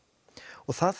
það